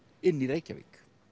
inni í Reykjavík